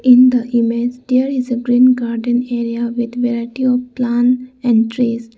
In the image there is a green garden area with variety of plants and trees.